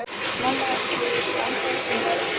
Mamma heldur að ég sé ennþá í sundi.